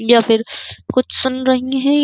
या फिर कुछ सुन रही है।